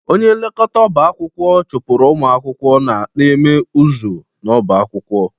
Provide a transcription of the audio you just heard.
Onye nlekọta ọba akwụkwọ chụpụrụ ụmụ akwụkwọ na-eme ụzụ n'ọba akwụkwọ